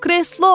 Kreslo!